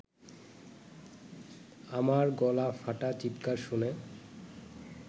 আমার গলা ফাটা চিৎকার শুনে